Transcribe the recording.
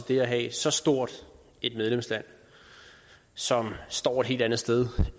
det at have så stort et medlemsland som står et helt andet sted